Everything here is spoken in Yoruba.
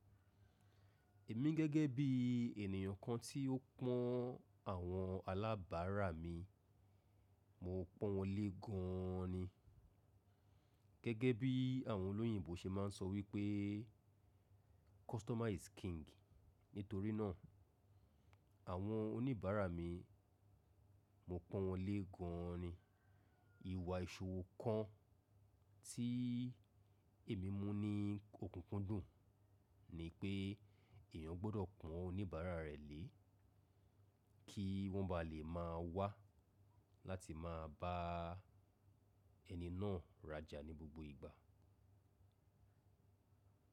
Èmi gẹ́gẹ́ bí ènìyàn kan tí ó pọ́n àwọn alábàárà mi, mo pọ́n wọn lé gaan ni. Gẹ́gẹ́ bí àwọn olóyìnbo ṣe máa ń sọ wípé customer is king. Nítorí náà, àwọn oníbàárà mi, mo pọ́n wọn lé gaan ni. Ìwà ìṣòwò kan tí èmi mú ní okunkundùn ni pé èèyàn gbọ́dọ̀ pọ́n oníbàárà rẹ̀ lé kí wọ́n ba lè máa wá láti máa bá ẹni náà rajà ní gbogbo ìgbà.